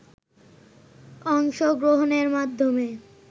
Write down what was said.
অংশগ্রহণের মাধ্যমে